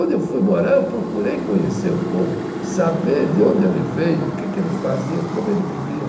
Onde eu fui morar, eu procurei conhecer o povo, saber de onde ele veio, o que que ele fazia, como ele vivia.